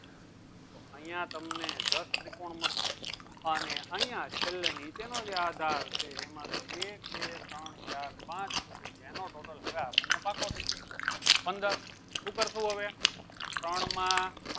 તો અયીયા તમે દસ ત્રિકોણ મળશે અને અયીયા છેલ્લે ની નીચે નું આધાર છે એમાં તો એક બે ત્રણ ચાર પાંચ પછી એનો total પાકો થઇ ગયો પંદર શું કરશું હવે ત્રણ માં